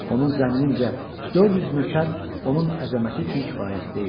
Onun zənnincə 400 nökər onun əzəməti üçün kifayət deyildi.